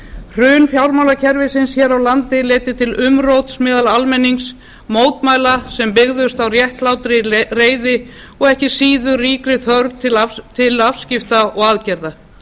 hrun fjármálakerfisins hér á landi leiddi til umróts meðal almennings mótmæla sem byggðust á réttlátri reiði og ekki síður ríkri þörf til afskipta og aðgerða